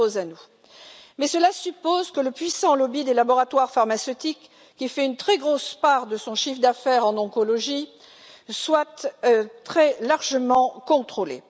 Toutefois, cela suppose que le puissant lobby des laboratoires pharmaceutiques, qui réalise une très grosse part de son chiffre d'affaires en oncologie, soit très largement contrôlé.